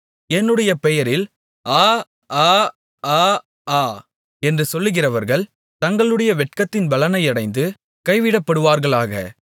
என்னுடைய பெயரில் ஆ ஆ ஆ ஆ என்று சொல்லுகிறவர்கள் தங்களுடைய வெட்கத்தின் பலனையடைந்து கைவிடப்படுவார்களாக